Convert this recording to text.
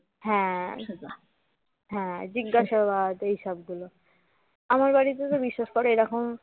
হ্যাঁ হ্যাঁ জিজ্ঞাসাবাদ এই সবগুলো আমার বাড়িতে তো বিশ্বাস কর এই রকম